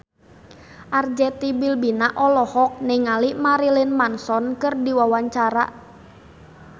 Arzetti Bilbina olohok ningali Marilyn Manson keur diwawancara